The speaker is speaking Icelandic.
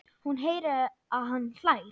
Hún heyrir að hann hlær.